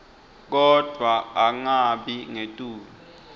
kodvwa angabi ngetulu